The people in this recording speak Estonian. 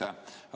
Aitäh!